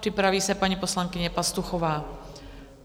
Připraví se paní poslankyně Pastuchová.